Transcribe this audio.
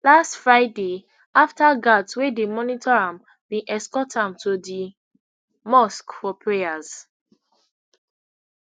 last friday afta guards wey dey monitor am bin escort am to di mosque for prayers